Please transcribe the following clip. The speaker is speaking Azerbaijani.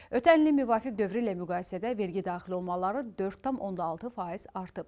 Ötən ilin müvafiq dövrü ilə müqayisədə vergi daxil olmaları 4,6% artıb.